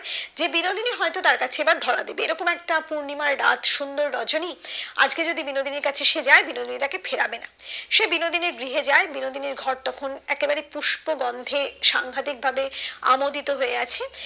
যে বিনোদিনী হয়তো তার কাছে এবার ধরা দেবে এরকম একটা পূর্ণিমা রাত সুন্দর রজনী আজকে যদি যে বিনোদিনর কাছে সে যায় যে বিনোদন তাকে ফেরাবে না সে যে বিনোদিনর গৃহে যায় যে বিনোদিনীর ঘর তখন একেবারে পুষ্প গন্ধে সাংঘাতিক ভাবে আমোদিত হয়ে আছে